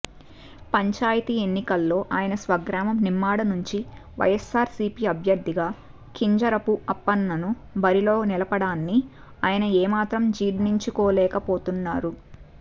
పంచాయతీ ఎన్నికల్లో ఆయన స్వగ్రామం నిమ్మాడ నుంచి వైఎస్సార్సీపీ అభ్యర్థిగా కింజరపు అప్పన్నను బరిలో నిలపడాన్ని ఆయన ఏమాత్రం జీర్ణించుకోలేపోతున్నారు